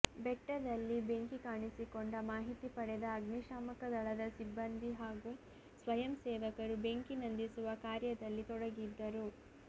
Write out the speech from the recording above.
ಬೆಟ್ಟದಲ್ಲಿ ಬೆಂಕಿ ಕಾಣಿಸಿಕೊಂಡ ಮಾಹಿತಿ ಪಡೆದ ಅಗ್ನಿಶಾಮಕ ದಳದ ಸಿಬ್ಬಂದಿ ಹಾಗು ಸ್ವಯಂ ಸೇವಕರು ಬೆಂಕಿ ನಂದಿಸುವ ಕಾರ್ಯದಲ್ಲಿ ತೊಡಗಿದ್ದರು